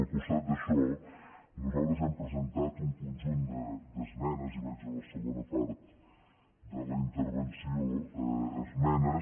al costat d’això nosaltres hem presentat un conjunt d’esmenes i vaig a la segona part de la intervenció esmenes